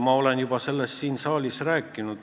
Ma olen sellest siin saalis juba rääkinud.